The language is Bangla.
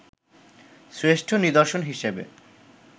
শ্রেষ্ঠ নিদর্শন হিসেবে